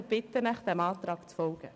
Ich bitte Sie, dem Antrag zu folgen.